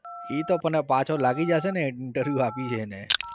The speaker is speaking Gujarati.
એ તો પણ પાછો લાગી જાશેને interview આપ્યું છે એને.